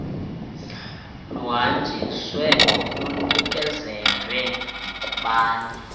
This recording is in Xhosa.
luhanjiswe lunikezelwe kubani